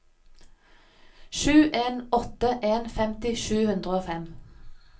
sju en åtte en femti sju hundre og fem